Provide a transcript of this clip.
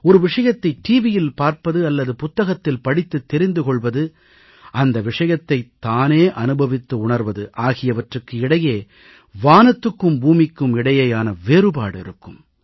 ஒரு விஷயத்தை டிவியில் பார்ப்பது அல்லது புத்தகத்தில் படித்துத் தெரிந்து கொள்வது அந்த விஷயத்தைத் தானே அனுபவித்து உணர்வது ஆகியவற்றுக்கு இடையே வானத்துக்கும் பூமிக்கும் இடையேயான வேறுபாடு இருக்கும்